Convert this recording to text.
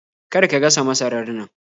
Kar ka gasa masarar nan!